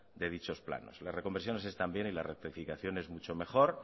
de dichos planes las reconversiones están bien y las rectificaciones mucho mejor